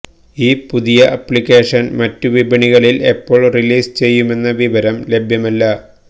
ഈ പുതിയ ആപ്ലിക്കേഷൻ മറ്റ് വിപണികളിൽ എപ്പോൾ റിലീസ് ചെയ്യുമെന്ന വിവരം ലഭ്യമല്ല